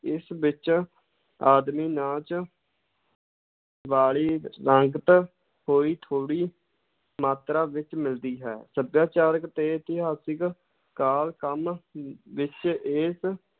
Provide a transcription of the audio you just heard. ਇਸ ਵਿੱਚ ਆਦਮੀ ਨਾਚ ਵਾਲੀ ਰੰਗਤ ਹੋਈ ਥੋੜ੍ਹੀ ਮਾਤਰਾ ਵਿੱਚ ਮਿਲਦੀ ਹੈ, ਸੱਭਿਆਚਾਰਕ ਤੇ ਇਤਿਹਾਸਿਕ ਕਾਲ ਕ੍ਰਮ ਅਮ ਵਿੱਚ ਇਸ